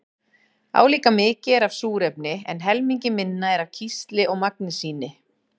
Álíka mikið er af súrefni en helmingi minna er af kísli og magnesíni.